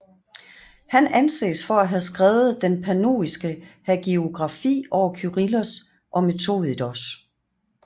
Han anses for at have skrevet den pannoniske hagiografi over Kyrillos og Methodios